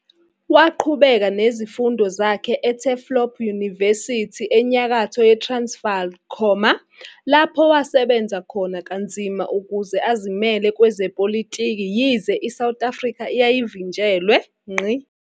Waqhubeka nezifundo zakhe eTurfloop University eNyakatho Transvaal, lapho wasebenza khona kanzima ukuze azimele kwezepolitiki yize iSouth Africa yayivinjelwe.